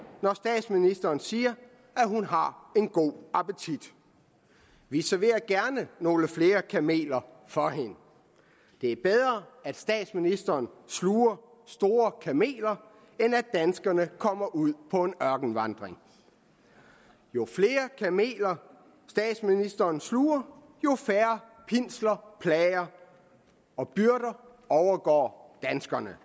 når statsministeren siger at hun har en god appetit vi serverer gerne nogle flere kameler for hende det er bedre at statsministeren sluger store kameler end at danskerne kommer ud på en ørkenvandring jo flere kameler statsministeren sluger jo færre pinsler plager og byrder overgår danskerne